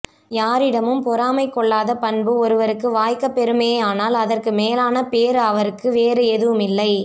யாரிடமும் பொறாமை கொள்ளாத பண்பு ஒருவர்க்கு வாய்க்கப் பெறுமேயானால் அதற்கு மேலான பேறு அவருக்கு வேறு எதுவுமில்லை